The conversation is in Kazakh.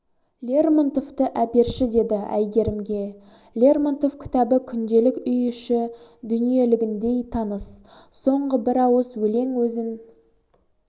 лермонтовты әперші деді әйгерімге лермонтов кітабы күнделік үй іші дүниелігіндей таныс соңғы бір ауыз өлең өзін